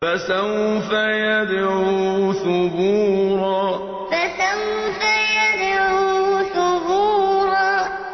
فَسَوْفَ يَدْعُو ثُبُورًا فَسَوْفَ يَدْعُو ثُبُورًا